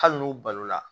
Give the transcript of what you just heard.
Hali n'u balo la